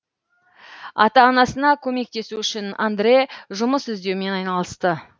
ата анасына көмектесу үшін андре жұмыс іздеумен айналысты